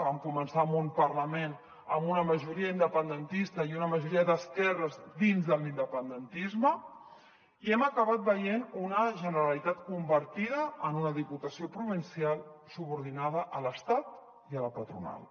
vam començar amb un parlament amb una majoria independentista i una majoria d’esquerres dins de l’independentisme i hem acabat veient una generalitat convertida en una diputació provincial subordinada a l’estat i a la patronal